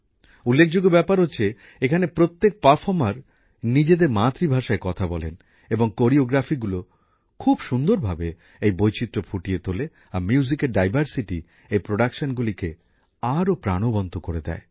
উল্লেখযোগ্য ব্যাপার হচ্ছে এখানে প্রত্যেক অংশগ্রহণকারী নিজেদের মাতৃভাষায় কথা বলেন এবং নৃত্যশৈলীগুলি খুব সুন্দর ভাবে এই বৈচিত্র ফুটিয়ে তোলে আর সঙ্গীতের বৈচিত্র এই প্রোডাকশনগুলিকে আরও প্রাণবন্ত করে দেয়